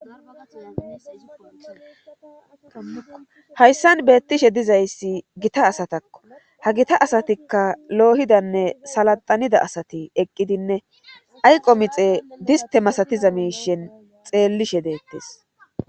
hayssan beettishe dizayssi gita asatakko ha gita asatikka loohidanne salaxanida asati eqqidinne ayqo mixe diste masatiza miishen xeellishe deettees